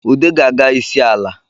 Ude ga-aga isi ala